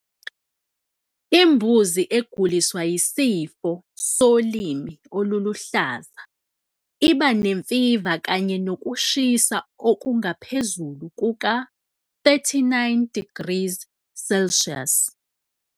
Imbuzi eguliswa yisifo solimi oluluhlaza iba nemfiva kanye nokushisa okungaphezulu kuka-39 degrees Celsius.